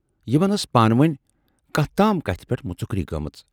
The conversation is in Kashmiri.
یِمن ٲس پانہٕ وٲنۍ کتھ تام کتھِ پٮ۪ٹھ مُژکری گٲمٕژ۔